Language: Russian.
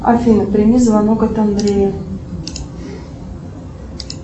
афина прими звонок от андрея